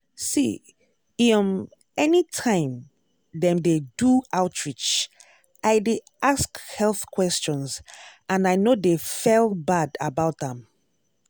see ehum anytime dem dey do outreach i dy ask health questions and i no dey fell bad about am.